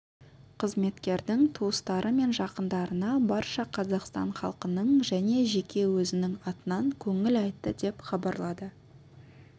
қызметкердің туыстары мен жақындарына барша қазақстан халқының және жеке өзінің атынан көңіл айтты деп хабарлады